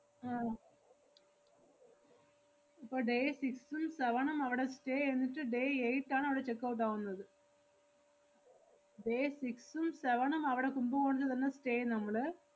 ആഹ് ഇപ്പൊ day six ഉം seven ഉം അവടെ stay എയ്തിട്ട് day eight ആണവടെ checkout ആവുന്നത്. day six ഉം seven ഉം അവടെ കുംഭകോണത്തില് തന്നെ stay നമ്മള്.